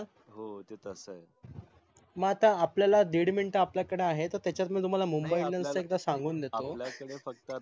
मग आता आपल्याला दिढ मिनीट आपल्याकडआहे त्याचात मी तुम्हाला मुंबई इंडियन्स च